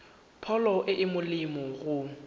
pholo e e molemo go